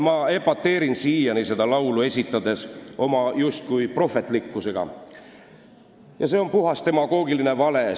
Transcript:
" Ma epateerin siiani seda laulu esitades oma justkui prohvetlikkusega ja see on puhas demagoogiline vale.